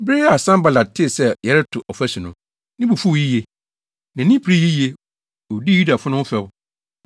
Bere a Sanbalat tee sɛ yɛreto ɔfasu no, ne bo fuw yiye. Nʼani beree yiye, dii Yudafo no ho fɛw,